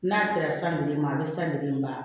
N'a sera san bilen ma a bɛ san bilen a